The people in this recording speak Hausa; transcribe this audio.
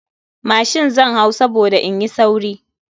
Mashin zan hau saboda in yi sauri.